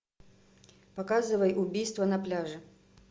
показывай убийство на пляже